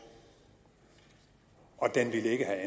og den ville ikke